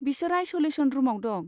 बिसोर आइस'लेसन रुमाव दं।